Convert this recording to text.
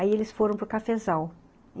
Aí eles foram para o cafezal.